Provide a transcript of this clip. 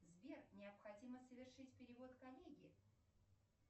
сбер необходимо совершить перевод коллеге